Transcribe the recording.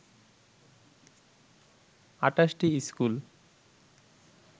২৮টি school